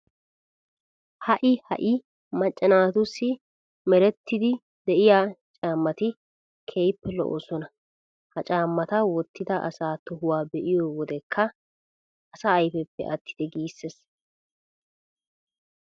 Ha"i ha"i macca naatussi merettiiddi de'iya caammati keehippe lo"oosona. Ha caammata wottida asa tohuwan be'iyo wodekka asa ayfeppe attite giissees.